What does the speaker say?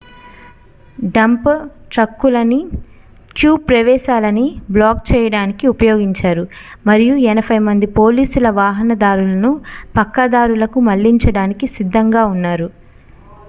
dump ట్రక్కులని tube ప్రవేశాలని block చేయడానికి ఉపయోగించారు మరియు 80 మంది పోలీసుల వాహనదారులను పక్కదారులకి మళ్లించడానికి సిద్ధంగా ఉన్నారు